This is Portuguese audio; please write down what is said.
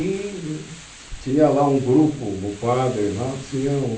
E tinha lá um grupo, o padre lá, tinha um...